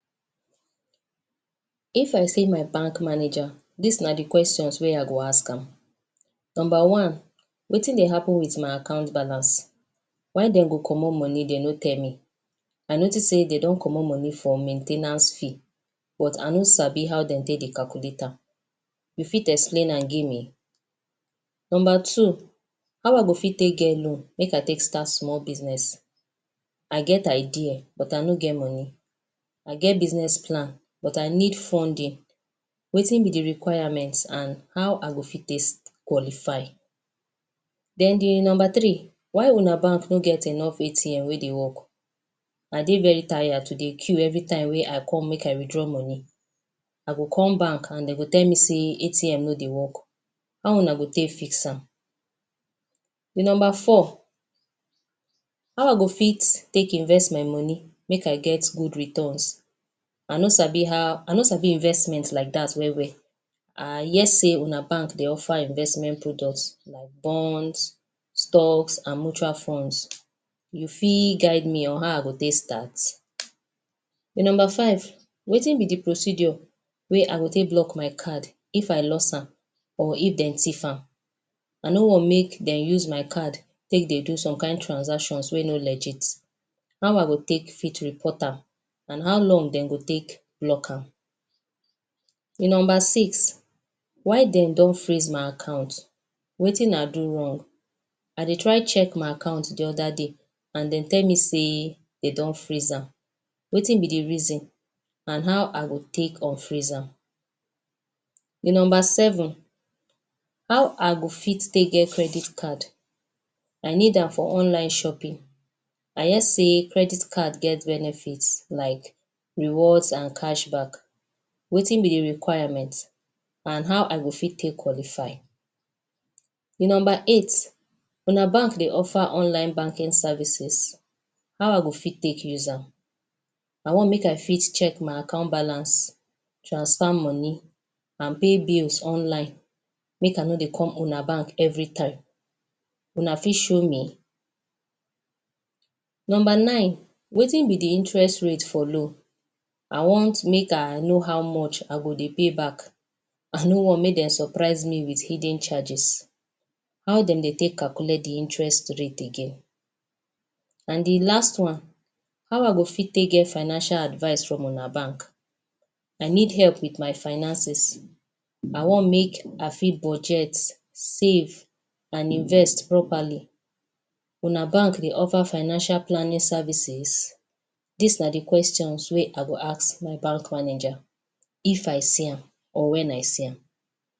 If I see my back manaja dis na di questions wey I go ask am. Number one wetin dey happun wit my account balance why dem go comot money dem no tell me? I notice say dem don comot money for main ten ance fee but I no sabi how dem take dey calculate am, you fit explain am give me? Number two, how I go fit take get loan make I take start small biznes, I get idea but I no get money. I get biznes plan but I need funding, wetin be requirement and how I go fit take qualify. Den di number three, why una banks no get enough ATM wey dey work, I dey very tired to dey queue evritime wey I come to withdraw money I go come bank and dem go tell me day ATM no dey wok, how una go tek fix am? Number four, how I go fit take invest my money make I get good returns I no sabi investment like dat wel wel. I hear say una banks dey offer investment products like bonds, stocks and mutual funds. You fit guide me on how I go take start? Number five wetin be di procedure wey I go take block my card if I lost am or if dem tief am. I no wan make dem use my card take dey do some kain transactions wey no legit, how I go fit take report am and how long dem go take lock am. Number six why dem don freeze my account wetin I do wrong? I dey try check my account di oda day and dem tell me say dey don freeze am, wetin be do reason and how I go take unfreeze am. Di number seven how I go fit take get credit card I need am for online shopping I hear say credit card get benefits like rewards and cash backs wetin be di requirement and how I go fit take qualify? Di number eight, una bank dey offer online banking services, how I go fit take use am? I wan make I fit check my account balance, transfer money and pay bills online make I no dey come una bank evritime, una fit show me? Number nine, wetin be interest rate for loans I want make I know how much I go dey pay back, I no want make dem surprise me wit hidden charges, how dem dey take calculate di interest rate again? And di last one, how I go fit take get financial advice from una banks I need help wit my finances I wan make I fit budget, save, and invest properly, una banks dey offer financial planning services? Dis na di questions wey I go ask my bank manaja if I see am or wen I see am.